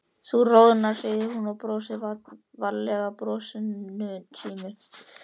Þú roðnar, segir hún og brosir fallega brosinu sínu.